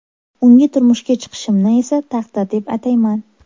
Unga turmushga chiqishimni esa taqdir deb atayman.